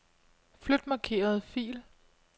Flyt markerede fil.